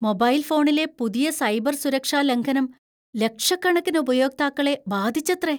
Mobile ഫോണിലെ പുതിയ cyber സുരക്ഷാ ലംഘനം ലക്ഷക്കണക്കിന് ഉപയോക്താക്കളെ ബാധിച്ചത്രേ!